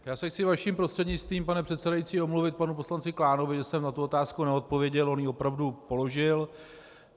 Já se chci vaším prostřednictvím, pane předsedající, omluvit panu poslanci Klánovi, že jsem na tu otázku neodpověděl, on ji opravdu položil.